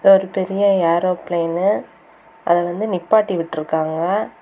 இது ஒரு பெரிய ஏரோபிளைனு அதவந்து நிப்பாட்டி விட்ருக்காங்க.